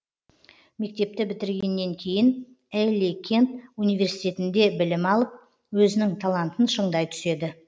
мектепті бітіргеннен кейін элли кент университетінде білім алып өзінің талантын шыңдай түседі